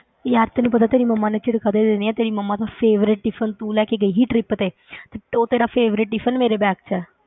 ਯਾਰ ਤੈਨੂੰ ਪਤਾ ਤੇਰੀ ਮੰਮਾ ਨੇ ਝਿੜਕਾਂ ਦੇ ਦੇਣੀਆਂ, ਤੇਰੀ ਮੰਮਾ ਦਾ favourite tiffin ਤੂੰ ਲੈ ਕੇ ਗਈ ਸੀ trip ਤੇ ਤੇ ਉਹ ਤੇਰਾ favourite tiffin ਮੇਰੇ bag 'ਚ ਹੈ।